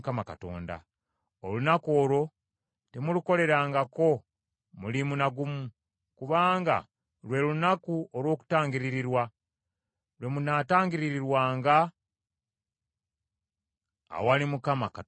Olunaku olwo temulukolerangako mulimu na gumu, kubanga lwe Lunaku olw’Okutangiririrwa, lwe munaatangiririrwanga awali Mukama Katonda wammwe.